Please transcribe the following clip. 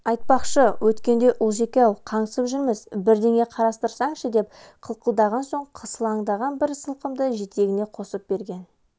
айтпақшы өткенде ұлжеке-ау қаңсып жүрміз бірдеңе қарастырсаңшы деп қылқылдаған соң сылаңдаған бір сылқымды жетегіне қосып берген